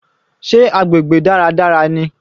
Sé agbègbè dáradára ni?